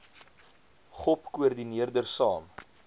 gop koördineerder saam